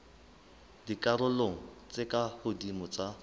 dikarolong tse ka hodimo tsa